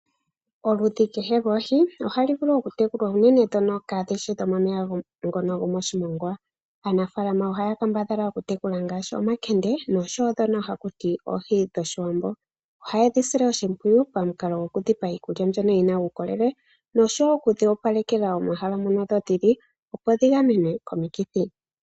Oludhi kehe lwoohi ohalu vulu okutekulwa unene ndhono kaadhi shi dhomomeya gomoshimongwa. Aanafaalama ohaya kambadhala okutekula omankende noshowo ndhono haku tiwa oohi dhOshiwambo. Ohaye dhi sile oshimpwiyu pamukalo gokudhi pa iikulya mbyono yi na uukolele noshowo okudhi opalekela omeya moka dhi li, opo dhi gamenwe komikithi.